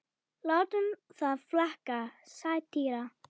látum það flakka: satýra.